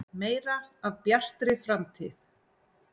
Meira af Bjartri framtíð.